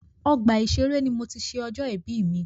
Ọgbà ìṣẹré ní mo tí ṣé ọjọ́ ìbí mi.